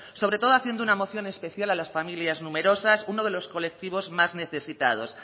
sobre todo haciendo una moción especial a las familias numerosas uno de los colectivos más necesitados